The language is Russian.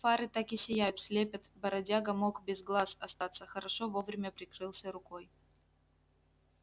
фары так и сияют слепят бродяга мог без глаз остаться хорошо вовремя прикрылся рукой